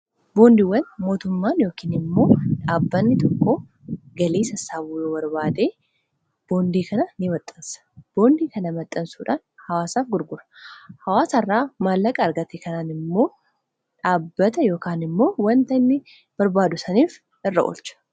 Boondiiwwan mootummaan yookaan immoo dhaabbanni tokko galiisa sassaabuu yoo barbaadee boondii kana in maxxassa boondii kana maxxansuudhaan hawaasaaf gurgura hawaasaa irraa maallaqa argate kanaan immoo dhaabbata yookaan immoo wanta inni barbaadu saniif irra oolcha